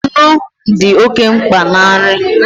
Nnu dị oke mkpa na nri